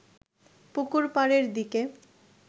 পুকুর পাড়ের দিকে